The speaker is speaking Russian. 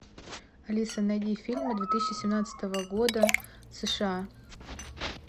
алиса найди фильмы две тысячи семнадцатого года сша